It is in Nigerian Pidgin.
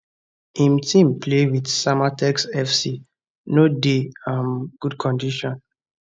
im team play wit samatex fc no dey um good condition